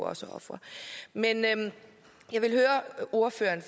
også er ofre men jeg vil høre ordføreren